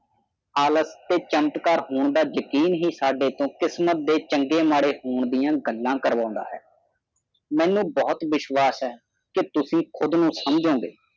ਆਲਸ ਤੇ ਚੈਨਟ ਕਾਰ ਹੋਨਾ ਯਕੀਨ ਹੀ ਸਾਡੇ ਤੋਂ ਕਿਸਮਤ ਦੇ ਚੰਗੇ ਮਾੜੇ ਹੋਣ ਦੀਆਂ ਗੱਲਾਂ ਕਰਵਾਂਦਾ ਹੈ ਮੈਨੂੰ ਬਹੁਤ ਵਿਸ਼ਵਾਸ ਹੈ ਕਿ ਤੁਸੀ ਕੁਦ ਨੂੰ ਸਮਝੋਗੇ